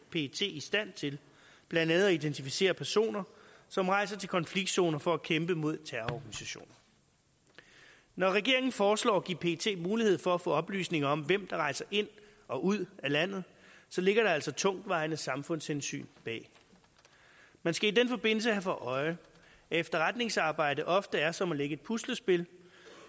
pet i stand til blandt andet at identificere personer som rejser til konfliktzoner for at kæmpe mod terrororganisationer når regeringen foreslår at give pet mulighed for at få oplysninger om hvem der rejser ind og ud af landet så ligger der altså tungtvejende samfundshensyn bag man skal i den forbindelse have for øje at efterretningsarbejde ofte er som at lægge et puslespil